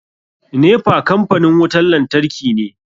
NEPA kampanin wutan lantarki ne.